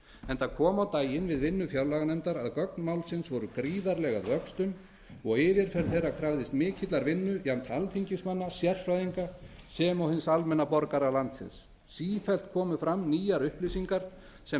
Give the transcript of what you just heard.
enda kom á daginn við vinnu fjárlaganefndar að gögn málsins voru gríðarleg að vöxtum og yfirferð þeirra krafðist mikillar vinnu jafnt alþingismanna sérfræðinga sem og hins almenna borgara landsins sífellt komu fram nýjar upplýsingar sem